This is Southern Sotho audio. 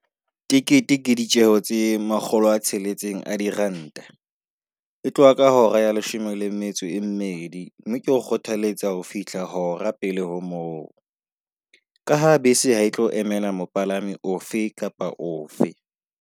Tekete ke ditjeo tse makgolo a tsheletseng a diranta, e tloha ka hora ya leshome le metso e mmedi. Mme ke o kgothaletsa ho fihla hora pele ho moo ka ha bese ha e tlo emela mopalami ofe kapa ofe.